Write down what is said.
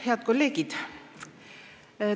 Head kolleegid!